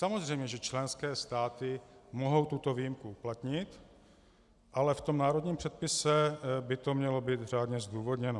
Samozřejmě že členské státy mohou tuto výjimku uplatnit, ale v tom národním předpisu by to mělo být řádně zdůvodněno.